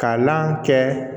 Kalan kɛ